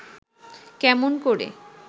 কেমন করে